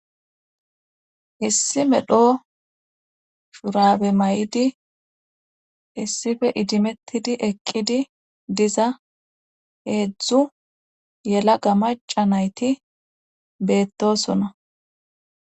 issi medho shurabe mayidi issife idimettidi eqqidi diza heedzdzu yelaga maca nayti beettosona